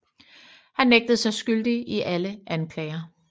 Han nægtede sig skyldig i alle anklager